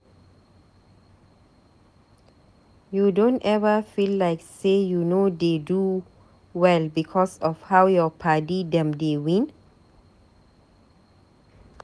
You don eva feel like sey you no dey do well because of how your padi dem dey win?